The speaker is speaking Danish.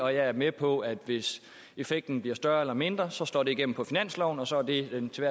jeg er med på at hvis effekten bliver større eller mindre så slår det igennem på finansloven og så er det den til